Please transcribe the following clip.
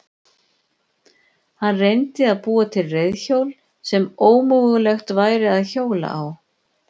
Hann reyndi að búa til reiðhjól sem ómögulegt væri að hjóla á.